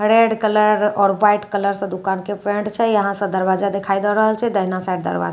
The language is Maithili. रेड कलर आओर ह्वाइट कलर सँ दुकान के पेंट छै। यहाँ स दरवाजा देखाई दे रहल छई दहिना साइड दरवाजा--